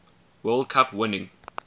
world cup winning